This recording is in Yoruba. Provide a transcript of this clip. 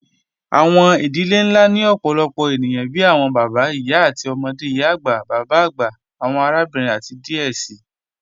Awọn idilẹ̀ nlá ni ọ̀pọ̀lọpọ̀ ènìyàn bíi awọn bàbá, ìyá, ọmọde, ìyá-agba, bàbá-agba, awọn àràbìnrin, àti díẹ̀ sí.